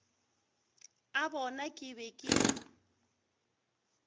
a bona ke be ke